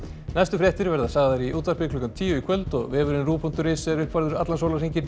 næstu fréttir verða sagðar í útvarpi klukkan tíu í kvöld og vefurinn rúv punktur is er uppfærður allan sólarhringinn